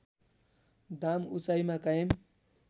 दाम उचाइमा कायम